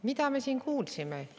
Mida me siin kuulsime?